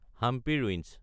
Hampi ruins